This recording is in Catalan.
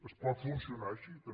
es pot funcionar així també